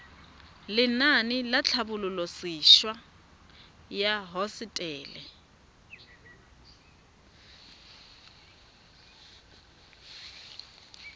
lenaane la tlhabololosewa ya hosetele